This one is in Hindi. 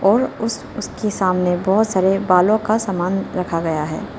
और उस उस उसके सामने बहोत सारे बालों का सामान रखा गया है।